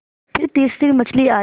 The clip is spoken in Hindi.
फिर तीसरी मछली आई